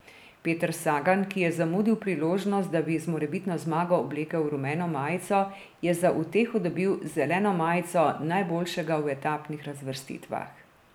Peter Sagan, ki je zamudil priložnost, da bi z morebitno zmago oblekel rumeno majico, je za uteho dobil zeleno majico najboljšega v etapnih razvrstitvah.